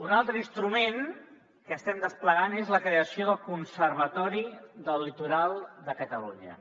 un altre instrument que estem desplegant és la creació del conservatori del litoral de catalunya